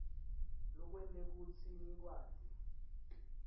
lokwente kutsi ngikwati